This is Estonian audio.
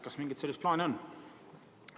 Kas mingit sellist plaani on?